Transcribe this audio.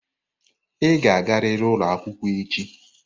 Ị ga-agariri ụlọ akwụkwọ echi!